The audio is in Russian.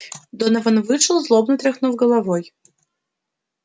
донован вышел злобно тряхнув головой